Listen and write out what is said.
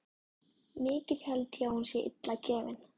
Mikið held ég hún sé illa gefin.